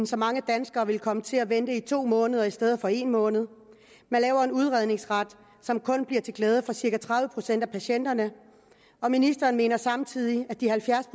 så mange danskere vil komme til at vente i to måneder i stedet for en måned man laver en udredningsret som kun bliver til glæde for cirka tredive procent af patienterne og ministeren mener samtidig at de halvfjerds